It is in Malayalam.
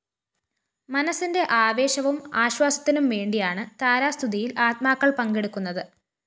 മനസ്സിന്റെ ആവേശവും ആശ്വാസത്തിനും വേണ്ടിയാണ് താരാസ്തുതിയില്‍ ആത്മാക്കള്‍ പങ്കെടുക്കുന്നത്